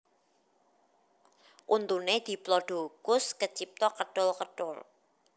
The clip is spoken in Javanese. Untuné diplodocus kecipta ketul ketul